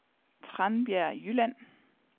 Tranbjerg Jylland